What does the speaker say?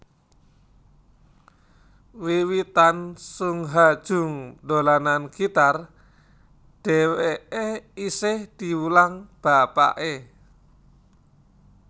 Wiwitan Sung Ha Jung dolanan gitar dhèwèké isih diwulang bapaké